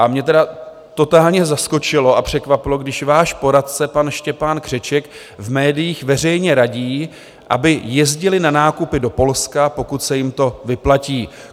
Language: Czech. A mě tedy totálně zaskočilo a překvapilo, když váš poradce pan Štěpán Křeček v médiích veřejně radí, aby jezdili na nákupy do Polska, pokud se jim to vyplatí.